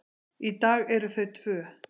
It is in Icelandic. Í dag eru þau tvö.